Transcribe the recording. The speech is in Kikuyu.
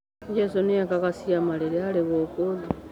Jesũ nĩekaga ciama rĩrĩa arĩ gũkũ thĩ.